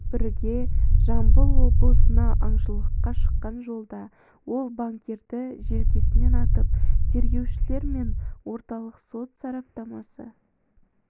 бірге жамбыл облысына аңшылыққа шыққан жолда ол банкирді желкесінен атып тергеушілер мен орталық сот сараптамасы